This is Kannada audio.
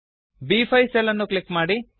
ಬ್5 ಸೆಲ್ ಅನ್ನು ಕ್ಲಿಕ್ ಮಾಡಿ